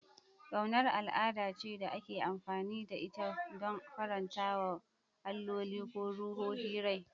Ƙaunar al'ada ce da ake amfani da ita don faranta wa alloli ko ruhohi rai.